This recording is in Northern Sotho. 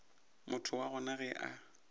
motho wa gona ge a